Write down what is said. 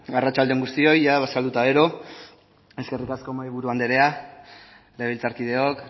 arratsalde on guztioi jada bazkaldu eta gero eskerrik asko mahaiburu andrea legebiltzarkideok